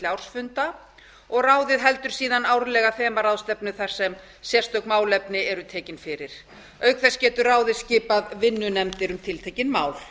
ársfunda og ráðið heldur síðan árlega þemaráðstefnu þar sem sérstök málefni eru tekin fyrir auk þess getur ráðið skipað vinnunefndir um tiltekin mál